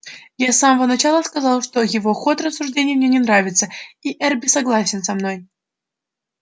я с самого начала сказал что его ход рассуждений мне не нравится и эрби согласен со мной